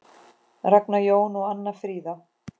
Ragnar Jón og Anna Fríða.